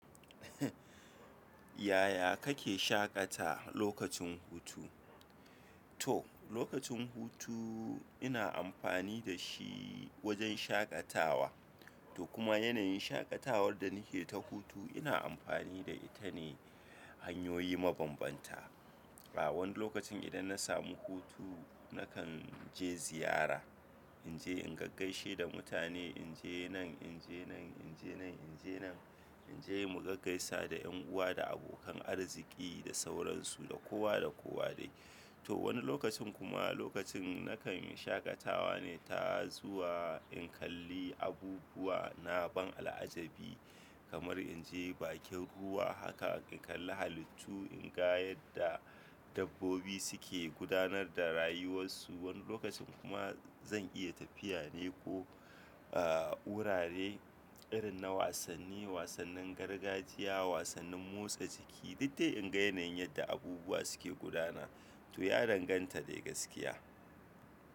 Yaya kake shaƙata lokacin hutu? To, lokacin hutu ina amfani da shi wajen shaƙatawa. To kuma yanayin shaƙatawar da nake ta hutu ina amfani da ita ne hanyoyi mabambanta. A wani lokacin idan na samu hutu nakanje ziyara, inje in gaggaishe da mutane, inje nan, inje nan, inje nan, inje nan, inje mu gaggaisa da ƴan'uwa da abokan arziƙi da sauran su da kowa da kowa dai to wani lokacin kuma nakanyi shaƙatawa ne ta zuwa in kalli abubuwa na al'ajabi, kamar inje bakin ruwa haka in kalli halittu inga yadda dabbobi suke gudanar da rayuwar su wani lokacin kuma zan iya tafiya ne ko, eh, wurare irin na wasanni, wasannin gargajiya, wasannin motsa jiki, diddai in ga yanayin yadda abubuwa suke gudana. To ya danganta dai gaskiya.